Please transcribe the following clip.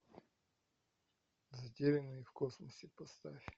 затерянные в космосе поставь